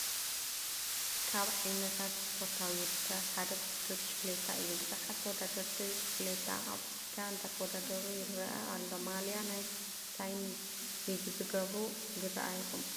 ካብ ዓይነታት ስፖርታዊ ውድድራት ሓደ ውድድር ብሽኪሌታ እዩ፡፡ ብዙሓት ተወዳደርቲ ብሽክሌታ ኣብ ፅርግያ እንዳተዋዳደሩ ይረአ ኣሎ፡፡ ማልያ ናይ ምንታይ ዝገበሩ ይራኣዩኹም?